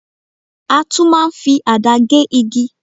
A tún máa ń fi àdá gé igi.